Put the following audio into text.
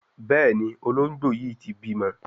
Béèni Ológbò yí tí bímọ.